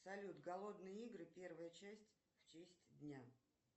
салют голодные игры первая часть в честь дня